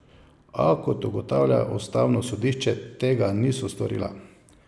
A, kot ugotavlja ustavno sodišče, tega niso storila.